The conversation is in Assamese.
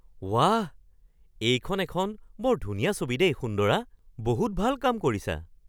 ৱাহ! এইখন এখন বৰ ধুনীয়া ছবি দেই সুন্দৰা! বহুত ভাল কাম কৰিছা।